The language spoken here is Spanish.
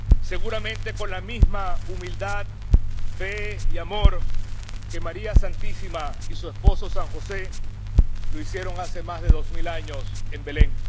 Seguramente, con la misma humildad, fe y amor que María Santísima y su esposo San José lo hicieron hace más de dos mil años en Belén.